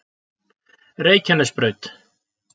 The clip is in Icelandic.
Reykjanesbraut